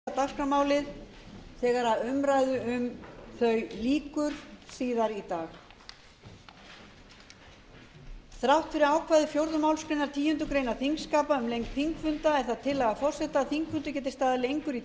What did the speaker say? áður boðuð utandagskrárumræða um nýtingu orkulinda og uppbyggingu stóriðju verður klukkan fjórtán á morgun þrátt fyrir ákvæði annarrar málsgreinar tíundu greinar þingskapa um lengd þingfunda er það tillaga forseta að þingfundur geti staðið lengur í